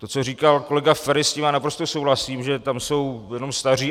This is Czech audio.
To, co říkal kolega Feri, s tím já naprosto souhlasím, že tam jsou jenom staří.